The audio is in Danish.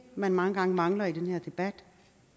man mange gange mangler i den her debat